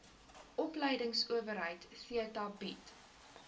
opleidingsowerheid theta bied